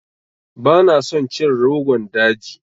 Bana son cin Rogon daji.